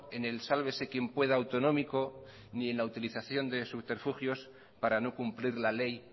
en el sálvese quien pueda autonómico ni en la utilización de su subterfugios para no cumplir la ley